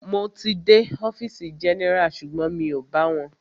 Mo ti dé ọfìsì general sugbon mi o bá wọn.